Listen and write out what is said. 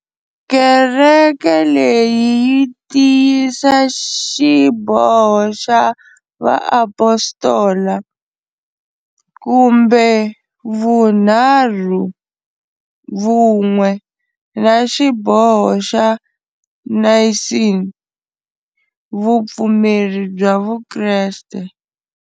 Kereke leyi yi tiyisa Xiboho xa va Apostola, kumbe vunharhu vun'we, na xiboho xa Naysini, Vupfumeri bya vukreste.